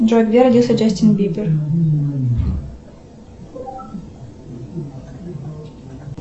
джой где родился джастин бибер